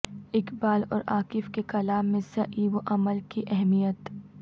اقبال اور عاکف کے کلام میں سعی و عمل کی اہمیت